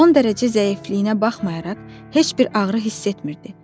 Son dərəcə zəifliyinə baxmayaraq heç bir ağrı hiss etmirdi.